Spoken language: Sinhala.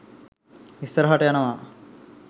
ඉස්සරහට යනවා